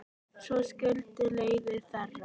Svo skildi leiðir þeirra.